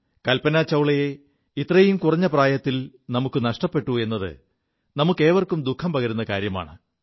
കൽപനാ ചൌളയെ ഇത്രയും കുറഞ്ഞ പ്രായത്തിൽ നമുക്കു നഷ്ടപ്പെു എത് നമുക്കേവർക്കും ദുഃഖം പകരു കാര്യമാണ്